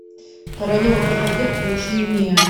королева красоты включи мне